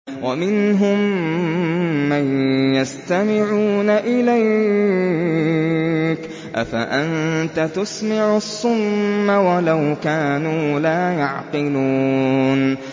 وَمِنْهُم مَّن يَسْتَمِعُونَ إِلَيْكَ ۚ أَفَأَنتَ تُسْمِعُ الصُّمَّ وَلَوْ كَانُوا لَا يَعْقِلُونَ